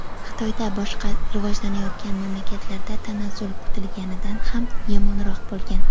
Xitoydan boshqa rivojlanayotgan mamlakatlarda tanazzul kutilganidan ham yomonroq bo‘lgan.